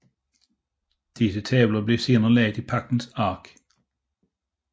Disse tavler blev senere lagt i Pagtens Ark